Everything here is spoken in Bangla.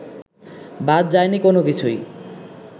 বাদ যায়নি কোনোকিছুই